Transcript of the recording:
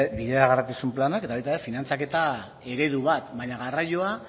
bideragarritasun planak eta baita ere finantzaketa eredu bat baina garraioa